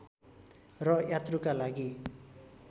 र यात्रुका लागि